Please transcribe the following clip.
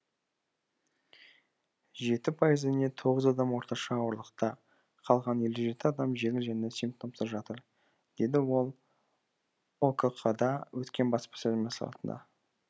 жеті пайызы не тоғыз адам орташа ауырлықта қалған елу жеті адам жеңіл және симптомсыз жатыр деді ол окқ да өткен баспасөз мәслихатында